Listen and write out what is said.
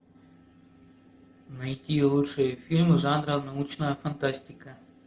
найти лучшие фильмы жанра научная фантастика